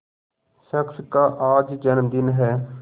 शख्स का आज जन्मदिन है